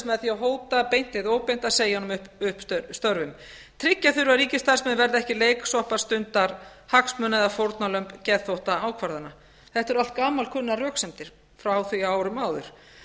með því að hóta beint eða óbeint að segja honum upp störfum tryggja þurfi að ríkisstarfsmenn verði ekki leiksoppar stundarhagsmuna eða fórnarlömb geðþóttaákvarðana þetta eru allt gamalkunnar röksemdir frá því á árum áður